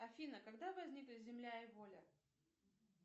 афина когда возникли земля и воля